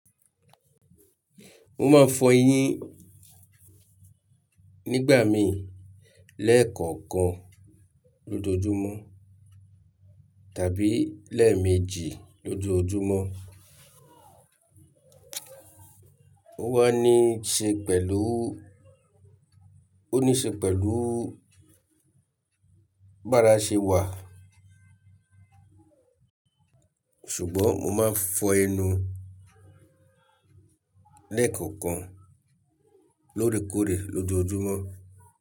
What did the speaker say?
Mo máa n fọ eyín nígbà mìí lẹ́ẹ̀kọ̀ọ̀kan lójoojúmọ́ tàbí lẹ́ẹ̀meji lójoojúmọ́. O wà ní ṣe pẹ̀lú, ó ní ṣe pẹ̀lú bárà ṣẹ wà. Sùgbọ́n mo máa n fọ ẹnu lẹ́ẹ̀kọ̀ọ̀kan lóòrèkóòrè lójoojúmọ́.